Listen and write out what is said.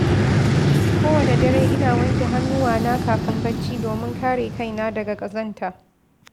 Kowane dare, ina wanke hannuwana kafin bacci domin kare kai na daga ƙazanta.